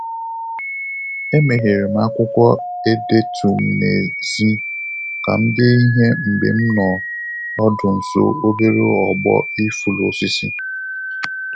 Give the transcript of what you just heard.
Emeghere m akwụkwọ edetu m n'èzí, ka m dee ihe mgbe m nọ ọdụ nso obere ogbo Ìfụlū osisi.